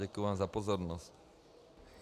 Děkuju vám za pozornost.